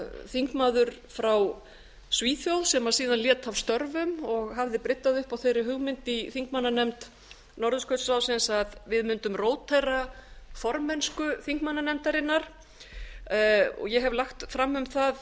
þingmaður frá svíþjóð sem síðan lét af störfum og hafði bryddað upp á þeirri hugmynd i þingmannanefnd norðurskautsráðsins að við mundum rótera formennsku þingmannanefndarinnar ég hef lagt fram um það